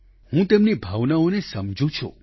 હું તેમની ભાવનાઓને સમજું છું